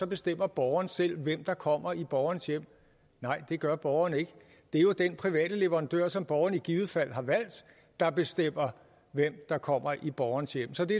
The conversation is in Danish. bestemmer borgeren selv hvem der kommer i borgerens hjem nej det gør borgeren ikke det er jo den private leverandør som borgeren i givet fald har valgt der bestemmer hvem der kommer i borgerens hjem så det